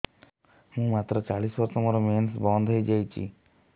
ମୁଁ ମାତ୍ର ଚାଳିଶ ବର୍ଷ ମୋର ମେନ୍ସ ବନ୍ଦ ହେଇଯାଇଛି